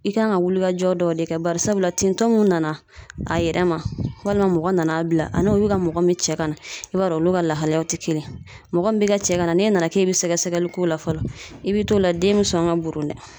I kan ka wulikajɔ dɔw de kɛ, barisabula tintɔ mun nana a yɛrɛ ma walima mɔgɔ nana bila , a n'o bi ka mɔgɔ min cɛ ka na, i b'a dɔn olu ka lahalayaw tɛ kelen ye . Mɔgɔ min be ka cɛ ka na n'e nana k'e be sɛgɛsɛgɛli k'o la fɔlɔ i be t'o la den be sɔn ka bo dɛ.